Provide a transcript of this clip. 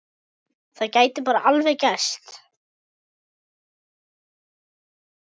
Það gæti bara alveg gerst!